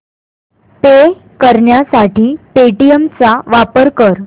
पे करण्यासाठी पेटीएम चा वापर कर